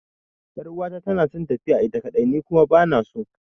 Yar'uwata tana son tafiya ita kaɗai, ni kuma ba na so.